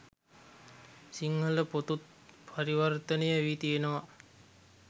සිංහල පොතුත් පරිවර්තනය වී තියෙනවා.